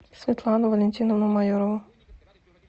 светлану валентиновну майорову